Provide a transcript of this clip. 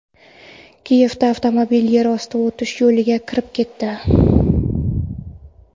Kiyevda avtomobil yer osti o‘tish yo‘liga kirib ketdi.